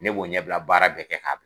Ne b'o ɲɛbila baara bɛɛ kɛ ka